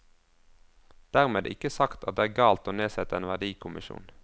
Dermed ikke sagt at det er galt å nedsette en verdikommisjon.